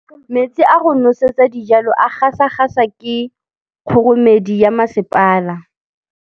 Metsi a go nosetsa dijalo a gasa gasa ke kgogomedi ya masepala.